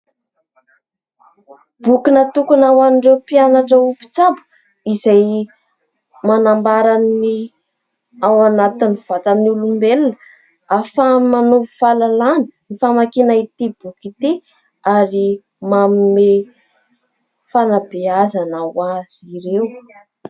Boky natokana ho an'ireo mpianatra ho mpitsabo izay manambara ny ao anatin'ny vatan'olombelona ahafahana manovo fahalalàna ny famakiana ity boky ity ary manome fanabeazana ho azy ireo.